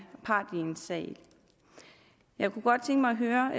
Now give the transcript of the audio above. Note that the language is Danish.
part i en sag jeg kunne godt tænke mig at høre